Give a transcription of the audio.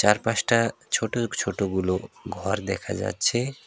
চার পাঁচটা ছোট ছোটগুলো ঘর দেখা যাচ্ছে।